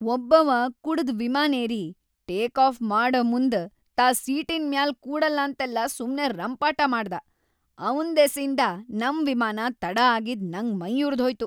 ಒಬ್ಬವಾ ಕುಡದು ವಿಮಾನೇರಿ, take off ಮಾಡಮುಂದ್‌ ತಾ ಸೀಟಿನ್‌ ಮ್ಯಾಲ ಕೂಡಲ್ಲಂತೆಲ್ಲಾ ಸುಮ್ನೆ ರಂಪಾಟ ಮಾಡ್ದಾ‌, ಅವ್ನ್‌ ದೆಸಿಂದ ನಮ್‌ ವಿಮಾನ ತಡ ಆಗಿದ್ ನಂಗ್ ಮೈಯುರದ್ಹೋಯ್ತು.